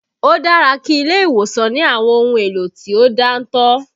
Ó dára kí ilé ìwòsàn ní àwọn ohun èlò tí ó dáńtọ́